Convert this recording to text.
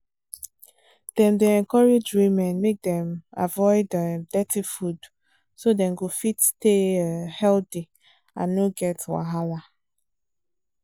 dem dey encourage women make dem avoid um dirty food so dem go fit stay um healthy and no get wahala